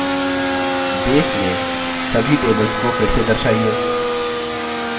2 base में सभी tables को फिर से दर्शाइए